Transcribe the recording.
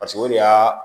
Paseke o de y'a